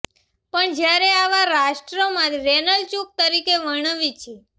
પણ જયારે આવા રાષ્ટ્રમાં રેનલ ચૂંક તરીકે વર્ણવી છે